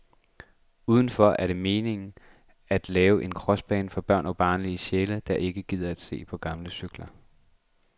Udendørs er det meningen at lave en crossbane for børn og barnlige sjæle, der ikke gider at se på gamle cykler.